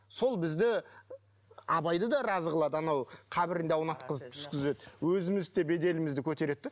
сол бізді абайды да разы қылады анау қабірінде аунатқызып түскізеді өзімізді де беделімізді көтереді де